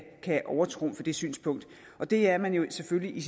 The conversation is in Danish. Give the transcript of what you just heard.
overtrumfe det synspunkt det er man jo selvfølgelig